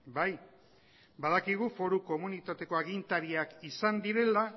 bai badakigu foru komunitateko agintariak izan direla